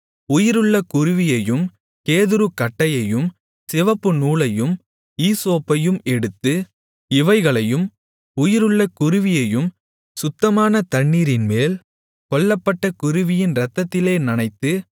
உயிருள்ள குருவியையும் கேதுருக்கட்டையையும் சிவப்புநூலையும் ஈசோப்பையும் எடுத்து இவைகளையும் உயிருள்ள குருவியையும் சுத்தமான தண்ணீரின்மேல் கொல்லப்பட்ட குருவியின் இரத்தத்திலே நனைத்து